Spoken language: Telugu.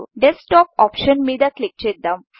డెస్క్ టాప్ ఆప్షన్ మీద క్లిక్ చేద్దాం